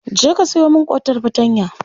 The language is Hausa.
Je ka sayo min ƙotar fartanya.